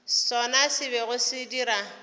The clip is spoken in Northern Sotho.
sona se bego se dira